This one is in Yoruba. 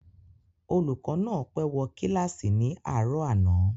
Olùkọ́ náà pé wo kílàsì ní àárò àná